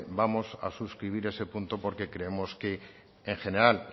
vamos a suscribir ese punto porque creemos en general